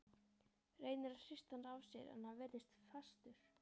Reynir að hrista hann af sér en hann virðist fastur.